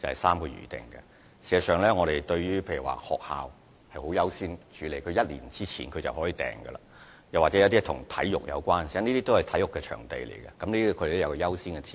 事實上，舉例而言，學校是會獲得優先處理的，可以在1年前申請預訂；與體育有關的活動亦然，因為這些都是體育場地，這些活動都有其優先次序。